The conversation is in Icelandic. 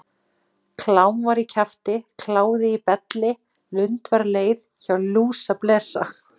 Klám var í kjafti, kláði í belli, lund var leið, hjá lúsablesa.